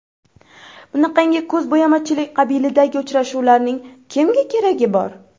Bunaqangi ko‘zbo‘yamachilik qabilidagi uchrashuvlarning kimga keragi bor?